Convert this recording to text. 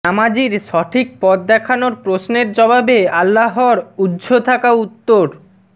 নামাজীর সঠিক পথ দেখানোর প্রশ্নের জবাবে আল্লাহর উহ্য থাকা উত্তর